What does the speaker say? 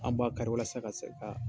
Anw b'a kari walasa ka se ka